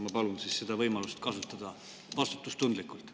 Ma palun seda võimalust kasutada, vastutustundlikult.